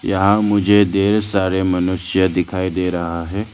यहां मुझे ढेर सारे मनुष्य दिखाई दे रहा है।